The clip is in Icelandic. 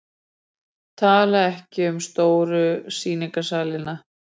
Tala ekki um stóru sýningarsalina.